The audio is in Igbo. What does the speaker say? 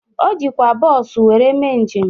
O jikwa bọọsu were mee njem ahụ.